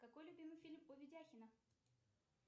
какой любимый фильм у видяхина